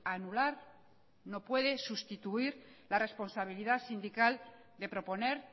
anular no puede sustituir la responsabilidad sindical de proponer